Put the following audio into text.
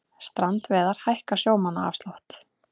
Strandveiðar hækka sjómannaafslátt